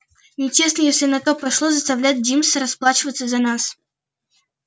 нечестно если на то пошло заставлять джимса расплачиваться за нас